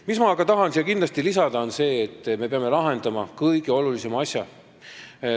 Mis ma aga tahan siia kindlasti lisada, on see, et me peame lahendama kõige olulisema asja.